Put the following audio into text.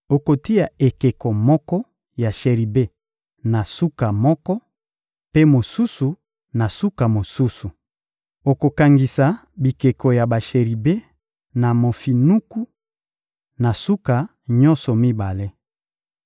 Okotia ekeko moko ya sheribe na suka moko, mpe mosusu, na suka mosusu. Okokangisa bikeko ya basheribe na mofinuku, na suka nyonso mibale.